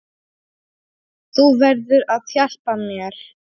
Þú verður að hjálpa mér.